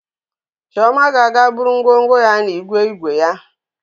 Chioma ga-aga buru ngwongwo ya n'igwe igwe ya.